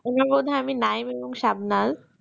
উনি বোধহয় আমি নায়েম এবং শাবনাজ